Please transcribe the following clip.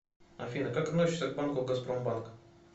афина как относишься к банку газпромбанк